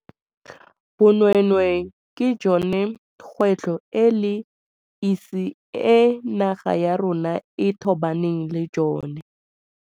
Bonweenwee ke jone kgwetlho e le esi e naga ya rona e tobaneng le jone.